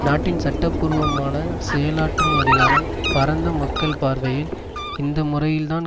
நாட்டின் சட்டபூர்வமான செயலாற்றும் அதிகாரம் பரந்த மக்கள் பார்வையில் இந்த முறையில்தான்